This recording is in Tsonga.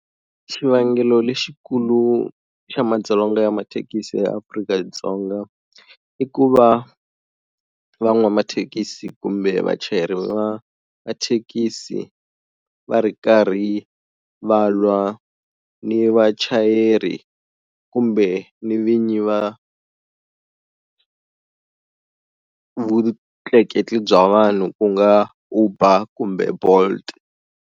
Xivangelo lexikulu xa madzolonga ya mathekisi ya Afrika-Dzonga i ku va van'wamathekisi kumbe vachayeri va mathekisi va ri karhi va lwa ni vachayeri kumbe ni vinyi va vutleketli bya vanhu ku nga Uber kumbe Bolt.